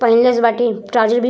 पहीनले बाड़िस ट्रॉउज़र भी --